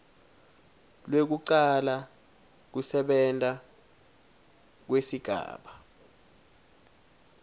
lwekucala kusebenta kwesigaba